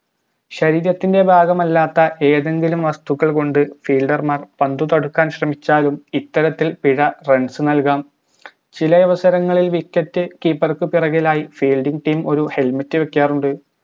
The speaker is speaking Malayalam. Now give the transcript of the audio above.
ശരീരത്തിന്റെ ഭാഗമല്ലാത്ത ഏതെങ്കിലും വസ്തുക്കൾകൊണ്ട് fielder മാർ പന്ത് തടുക്കാൻ ശ്രമിച്ചാലും ഇത്തരത്തിൽ പിഴ runs നൽകാം ചിലയവസരങ്ങളിൽ wicket keeper പിറകിലായി fielding team ഒരു helmet വെക്കാറുണ്ട്